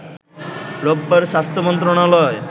রোববার স্বাস্থ্য মন্ত্রণালয়